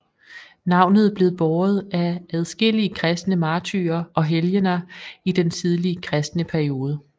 Navnet blev båret af adskillige kristne martyrer og helgener i den tidlige kristne periode